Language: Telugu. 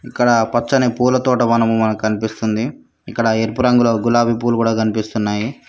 ఇక్కడ పచ్చని పూల తోట వనము మనకు కనిపిస్తుంది ఇక్కడ ఎరుపు రంగులో గులాబి పూలు కూడా కనిపిస్తున్నాయి.